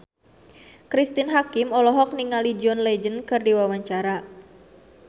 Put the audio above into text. Cristine Hakim olohok ningali John Legend keur diwawancara